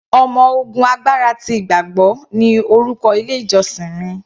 Ọmọ ogun agbára ti ìgbàgbọ́ ni orúkọ ilé ìjósìn mi.